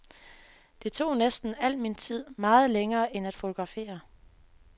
Det tog næsten al min tid, meget længere end at fotografere.